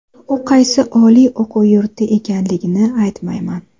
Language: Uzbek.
U qaysi oliy o‘quv yurti ekanligini aytmayman.